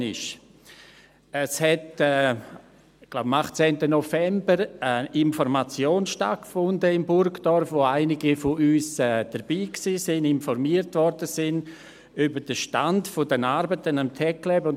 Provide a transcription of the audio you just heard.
Es fand, ich glaube, es war am 18. November, eine Information in Burgdorf statt, an der einige von uns dabei waren und über den Stand der Arbeiten am TecLab informiert wurden.